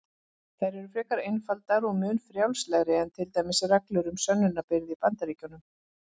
Þær eru frekar einfaldar og mun frjálslegri en til dæmis reglur um sönnunarbyrði í Bandaríkjunum.